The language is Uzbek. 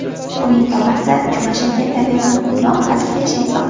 Uning tog‘asi – Jumash aka tabiatan quvnoq, hazilkash inson.